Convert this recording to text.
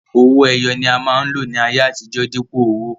Owó ẹyọ ni a máa ń lò ní ayé àtijó, dípò owó.